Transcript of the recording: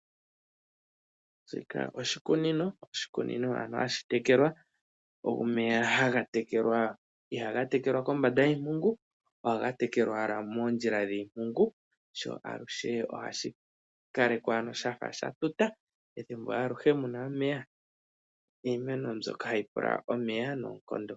Shika oshikunino ano hashi tekelwa, omeya iha ga tekelwa kombanda yiimpungu ohaga tekelwa moondjila dhiimpungu sho aluhe oha shi kalekwa shafa sha tuta ethimbo alihe mu na omeya niimeno mbyoka hayi pula omeya noonkondo.